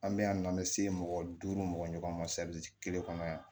An bɛ yan nɔ an bɛ se mɔgɔ duuru mɔgɔ ma kelen kɔnɔ yan